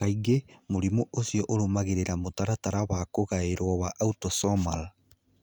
Kaingĩ, mũrimũ ũcio ũrũrũmagĩrĩra mũtaratara wa kũgaĩrũo wa autosomal.